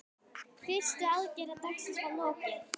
Fyrstu aðgerð dagsins var lokið.